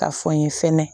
Ka fɔ n ye fɛnɛ